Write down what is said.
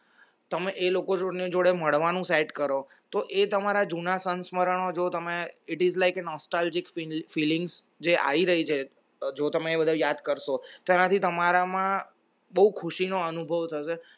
તમે એ લોકો જોડે મળવાનું set કરો તો એ તમારા જુના સંસ્મરણો જો તમે it is like an nostalgic feelings જે આઈ રહી છે જો તમે યાદ કરશો તમારામાં ખુશી નો અનુભવ થશે